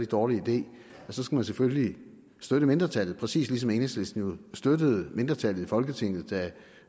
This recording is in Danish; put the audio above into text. dårlig idé så skal vi selvfølgelig støtte mindretallet præcis ligesom enhedslisten jo støttede mindretallet i folketinget da